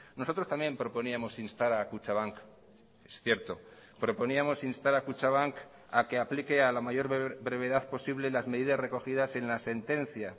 nosotros también proponíamos instar a kutxabank es cierto proponíamos instar a kutxabank a que aplique a la mayor brevedad posible las medidas recogidas en la sentencia